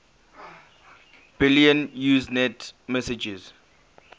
billion usenet messages